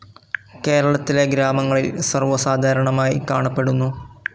കേരളത്തിലെ ഗ്രാമങ്ങളിൽ സർവസാധാരണമായി കാണപ്പെടുന്നു.